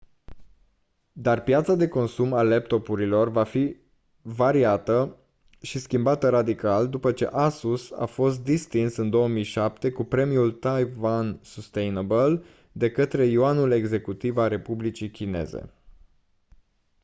dar piața de consum a laptopurilor va fi variată și schimbată radical după ce asus a fost distins în 2007 cu premiul taiwan sustainable de către yuanul executiv al republicii chineze